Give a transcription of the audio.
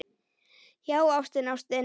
Já, ástin, ástin.